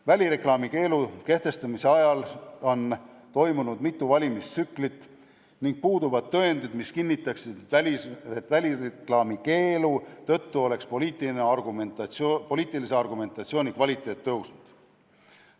Välireklaami keelu kehtestamise ajal on toimunud mitu valimistsüklit ning puuduvad tõendid, mis kinnitaksid, et välireklaami keelu tõttu oleks poliitilise argumentatsiooni kvaliteet paranenud.